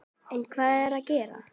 En hver er að græða?